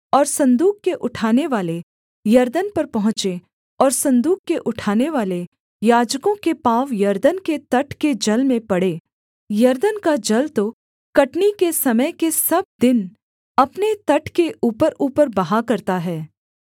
और सन्दूक के उठानेवाले यरदन पर पहुँचे और सन्दूक के उठानेवाले याजकों के पाँव यरदन के तट के जल में पड़े यरदन का जल तो कटनी के समय के सब दिन अपने तट के ऊपरऊपर बहा करता है